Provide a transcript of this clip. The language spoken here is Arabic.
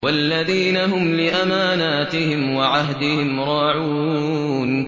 وَالَّذِينَ هُمْ لِأَمَانَاتِهِمْ وَعَهْدِهِمْ رَاعُونَ